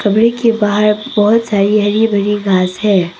के बाहर बहुत सारी हरि भरी घास है।